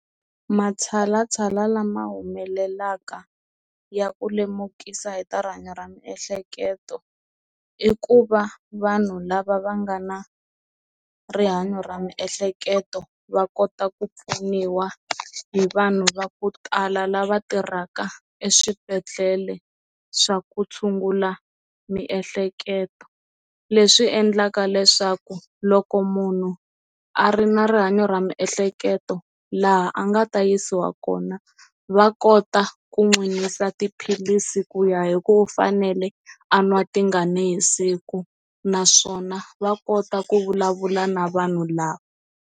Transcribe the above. Matshalatshala lama humelelaka ya ku lemukisa hi ta rihanyo ra miehleketo i ku va vanhu lava va nga na rihanyo ra miehleketo va kota ku pfuniwa hi vanhu va ku tala lava tirhaka eswibedhlele swa ku tshungula miehleketo leswi endlaka leswaku loko munhu a ri na rihanyo ra miehleketo laha a nga ta yisiwa kona va kota ku n'wi yisa tiphilisi ku ya hi ku u fanele a nwa tingani hi siku naswona va kota ku vulavula na vanhu lava.